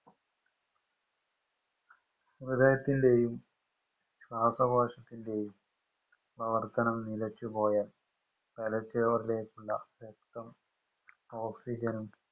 ഹൃദയത്തിൻറെയും ശ്വാസകോശത്തിൻറെയും പ്രവർത്തനം നിലച്ചുപോയാൽ തലച്ചോറിലേക്കുള്ള രക്തം oxygen നും